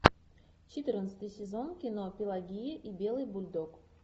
четырнадцатый сезон кино пелагея и белый бульдог